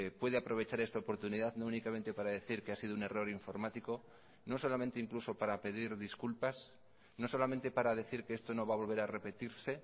puede aprovechar esta oportunidad no únicamente para decir que ha sido un error informático no solamente incluso para pedir disculpas no solamente para decir que esto no va a volver a repetirse